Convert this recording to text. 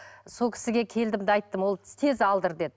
сол кісіге келдім де айттым ол кісі тез алдыр деді